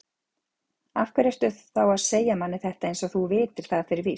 Af hverju ertu þá að segja manni þetta eins og þú vitir það fyrir víst?